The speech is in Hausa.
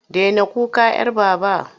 Daina kuka 'yar Baba!